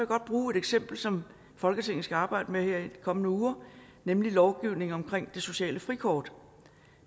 godt bruge et eksempel som folketinget skal arbejde med her i de kommende uger nemlig lovgivningen om det sociale frikort